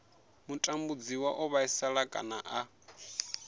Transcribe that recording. mutambudziwa o vhaisala kana a